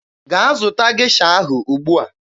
Gaa zụta Gesha ahụ ugbua!